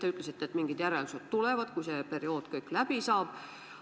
Te ütlesite, et mingisugused järeldused tehakse, kui see periood läbi saab.